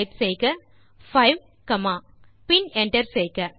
type செய்க 5 comma பின் enter செய்க